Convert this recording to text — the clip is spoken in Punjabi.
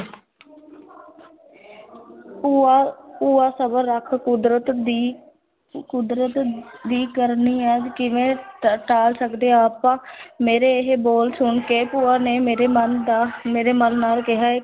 ਭੂਆ ਭੂਆ ਸਬਰ ਰੱਖ ਕੁਦਰਤ ਦੀ ਕੁਦਰਤ ਵੀ ਕਰਨੀ ਕਿਵੇਂ ਟ ਟਾਲ ਸਕਦੇ ਆਪਾਂ ਮੇਰੇ ਇਹ ਬੋਲ ਸੁਣ ਕੇ ਭੂਆ ਨੇ ਮੇਰੇ ਮਨ ਦਾ ਮੇਰੇ ਮਨ ਨਾਲ ਕਿਹਾ